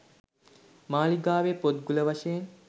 මාලිගාවේ පොත්ගුල වශයෙන්